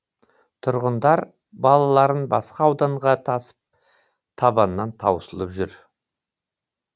тұрғындар балаларын басқа ауданға тасып табаннан таусылып жүр